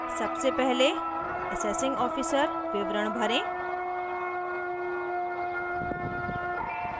सबसे पहले assessing officer विवरण भरें